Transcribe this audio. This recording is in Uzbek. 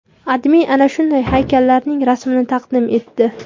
AdMe ana shunday haykallarning rasmini taqdim etdi.